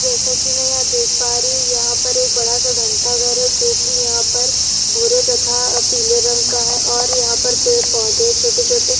जैसे की मैं यहाँ देख पा रही हूं यहाँ पर एक बड़ा सा घंटा घर है जो की यहाँ पर भूरे तथा पीले रंग का है और यहाँ पर पेड़ पौधे छोटे-छोटे--